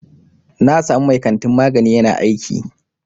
Na samu mai kantin magani ƴana aiki.